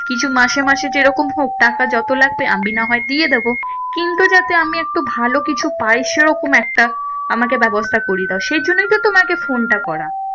কিছু মাসে মাসে যেরকম হোক টাকা যত লাগবে আমি না হয় দিয়ে দেবো। কিন্তু যাতে আমি একটু ভালো কিছু পাই সেরকম একটা আমাকে ব্যবস্থা করিয়ে দাও। সেইজন্যেই তো তোমাকে ফোনটা করা।